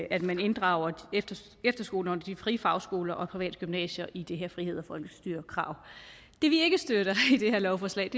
at man inddrager efterskolerne de frie fagskoler og privatgymnasierne i det her frihed og folkestyre krav det vi ikke støtter i det her lovforslag